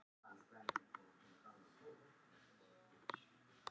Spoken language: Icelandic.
Þegar Plútó er við sólnánd á braut sinni er hann jafnframt nær sól en Neptúnus.